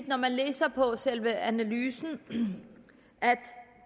når man læser selve analysen at